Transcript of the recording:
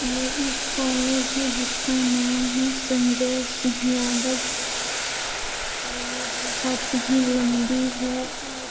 ये एक कॉलेज है जिसका नाम है संजय सिंह यादव कॉलेज और ये बोहत ही लंबी है और --